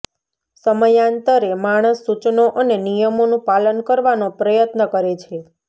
સમયાંતરે માણસ સૂચનો અને નિયમોનું પાલન કરવાનો પ્રયત્ન કરે છે